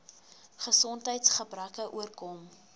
gesondheids gebreke oorkom